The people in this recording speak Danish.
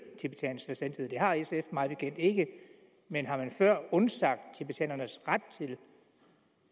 tibetansk selvstændighed det har sf mig bekendt ikke men har man før undsagt tibetanernes ret til